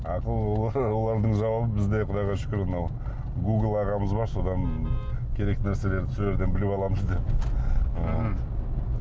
олардың жауабы бізде құдайға шүкір мынау гугл ағамыз бар содан керек нәрселерді сол жерден біліп аламыз деп ы мхм